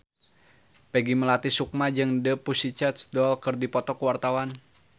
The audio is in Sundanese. Peggy Melati Sukma jeung The Pussycat Dolls keur dipoto ku wartawan